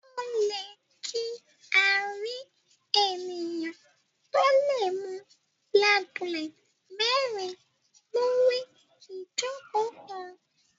O lẹ kí a rí ènìyàn to lẹ mú black bullet mérin lori ijoko kán